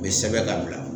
U bɛ sɛbɛn ka bila